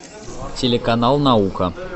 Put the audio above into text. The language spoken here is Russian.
телеканал наука